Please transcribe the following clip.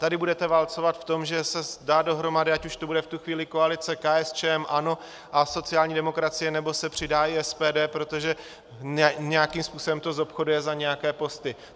Tady budete válcovat v tom, že se dá dohromady, ať už to bude v tu chvíli koalice, KSČM, ANO a sociální demokracie, nebo se přidá i SPD, protože nějakým způsobem to zobchoduje za nějaké posty.